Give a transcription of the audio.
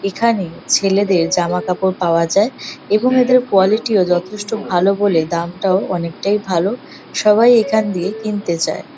এখানে ছেলেদের জামা কাপড় পাওয়া যায় এবং এদের কোয়ালিটি -ও যথেষ্ট ভালো বলে দামটাও অনেকটাই ভালো সবাই এখান দিয়ে কিনতে চায়।